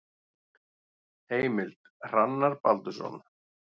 Heimild: Hrannar Baldursson.